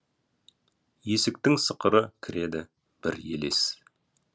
есіктің сықыры кіреді бір елес